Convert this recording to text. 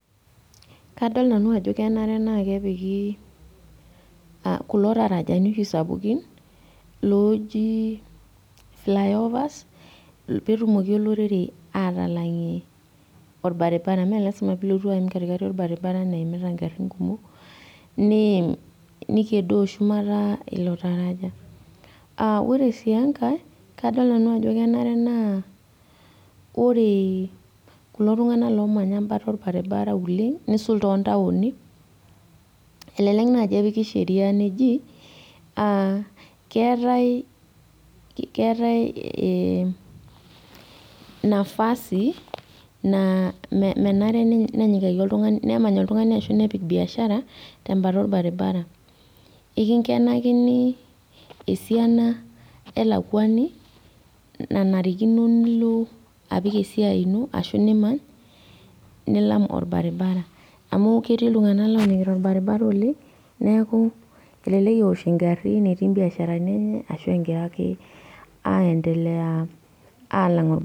Kadol nanu ajo kenare naa kepiki uh kulo tarajani oshi sapukin looji fly overs petumoki olorere atalang'ie orbaribara mee lasima pilotu aim katikati orbaribara naimita ingarrin kumok niim nikedoo shumata ilo taraja uh ore sii enkae kadol nanu ajo kenare naa ore kulo tung'anak lomanya embata orbaribara oleng nisul tontaoni elelek naaji epiki sheria neji uh keetae ee nafasi naa menare nenyikaki nemany oltung'ani ashu nepik biashara tembata orbaribara ikinkenakini esiana elakuani nanarikino nilo apik esiai ino ashu nimany nilam orbaribara amu ketii iltung'anak lolang'ita orbaribara oleng neeku elelek ewosh ingarrin etii imbiasharani enye ashu engira ake aendelea alang orbaribara.